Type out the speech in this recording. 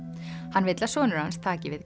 hann vill að sonur hans taki við